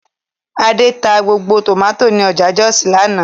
Adé ta gbogbo tòmátì ní ọjà Jọ́òsì lánàá